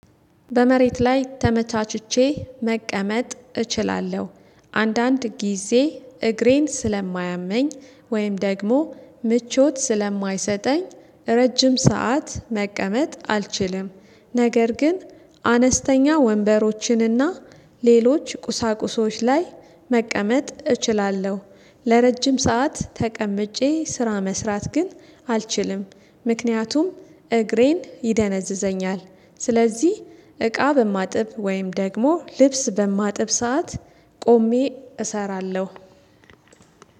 በመሬት ላይ ተመቻችቼ መቀመጥ እችላለሁ። አንዳንድ ጊዜ እግሬን ስለማያመኝ ወይም ደግሞ ምቾት ስለማይሰጠኝ ረጅም ሰዓት መቀመጥ አልችልም። ነገር ግን አነስተኛ ወንበሮችንና ሌሎች ቁሳቁሶች ላይ መቀመጥ እችላለሁ። ለረጅም ሰዓት ተቀምጬ ስራ መስራት ግን አልችልም ምክንያቱም እግሬን ይደነዝዘኛል። ስለዚህ እቃ በማጥብ ወይም ደግሞ ልብስ በማጥብ ሰዓት ቆሜ እሰራለሁ።